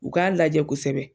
U k'a lajɛ kosɛbɛ